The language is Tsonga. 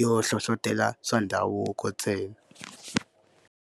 yo hlohlotelo swa ndhavuko ntsena.